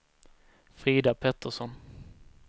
Frida Pettersson